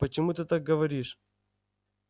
почему ты так говоришь